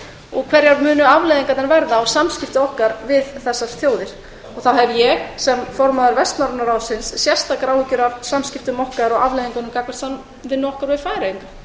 og hverjar afleiðingarnar munu verða á samskipti okkar við þessar þjóðir þá hef ég sem formaður vestnorræna ráðsins sérstakar áhyggjur af afleiðingunum hvað varðar samskipti okkar við færeyinga